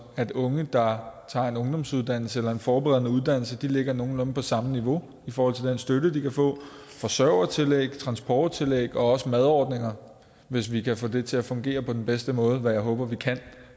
at unge der tager en ungdomsuddannelse eller en forberedende uddannelse ligger nogenlunde på samme niveau i forhold til den støtte de kan få forsørgertillæg transporttillæg også madordninger hvis vi kan få det til at fungere på den bedste måde hvad jeg håber vi kan